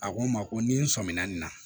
A ko n ma ko ni n sɔmina nin na